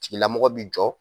tigilamɔgɔ bi jɔ.